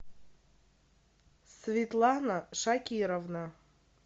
светлана шакировна